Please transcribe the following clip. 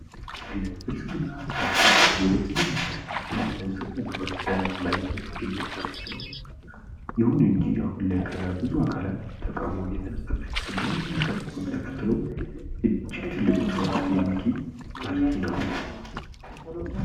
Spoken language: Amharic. የፖለቲካ ሥርዓቶች እንደ ዴሞክራሲ፣ አውቶክራሲና ሪፐብሊክ የሚለያዩ ሲሆን እያንዳንዱ የራሱ የሆነ የአስተዳደር መዋቅር አለው